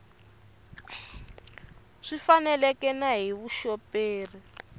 swi faneleke na hi vuxoperi